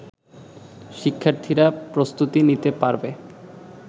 শিক্ষার্থীরা প্রস্তুতি নিতে পারবে